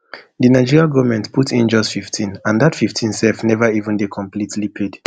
di nigerian goment put in just fifteen and dat fifteen self neva even dey completely paid